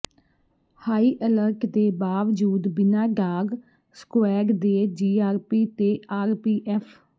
high alert ਦੇ ਬਾਵਜੂਦ ਬਿਨਾਂ ਡਾਗ ਸਕੁਐਡ ਦੇ ਜੀਆਰਪੀ ਤੇ ਆਰਪੀਐਫ